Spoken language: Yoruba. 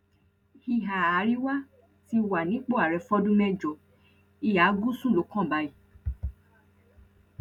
ìhà àríwá ti wà nípò ààrẹ fọdún mẹjọ ìhà gúúsù ló kàn báyìí